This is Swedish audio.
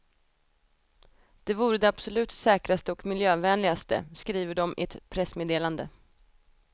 Det vore det absolut säkraste och miljövänligaste, skriver de i ett pressmeddelande.